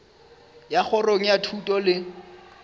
ya kgorong ya thuto le